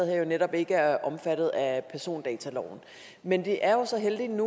her jo netop ikke er omfattet af persondataloven men det er jo så heldigt